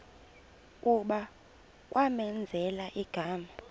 kuba kwamenzela igama